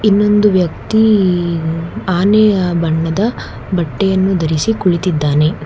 ಇನ್ನೊಂದು ವ್ಯಕ್ತಿ ಆನೆಯ ಬಣ್ಣದ ಬಟ್ಟೆಯನ್ನು ಧರಿಸಿ ಕುಳಿತಿದ್ದಾನೆ.